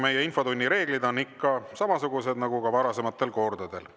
Meie infotunni reeglid on ikka samasugused nagu varasematel kordadel.